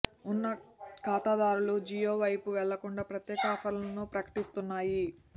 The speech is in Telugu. ఉన్న ఖాతాదారులు జియో వైపు వెళ్లకుండా ప్రత్యేక ఆఫర్లను ప్రకటిస్తున్నాయి